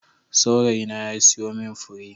Saurayina ya siyo min fure.